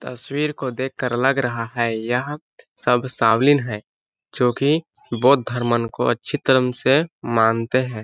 तस्वीर को देखकर लग रहा है यह सब शाओलिन है जो की बोध धर्मं को अच्छी तरम से मानते है।